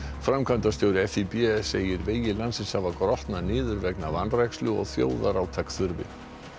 framkvæmdastjóri segir vegi landsins hafa grotnað niður vegna vanrækslu og þjóðarátak þurfi